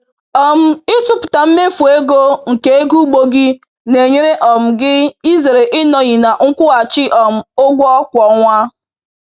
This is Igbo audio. um Ịtụpụta mmefu ego nke ego ugbo gị na-enyere um gị izere ịnọghị na nkwụghachi um ụgwọ kwa ọnwa.